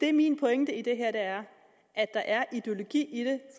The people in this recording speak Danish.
er min pointe i det her er at der er ideologi